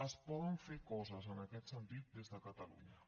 es poden fer coses en aquest sentit des de catalunya